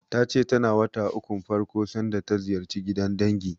Ta ce tana wata ukun farko sanda ta ziyarci gidan dangi.